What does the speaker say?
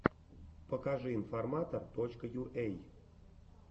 покажи информатор точка юэй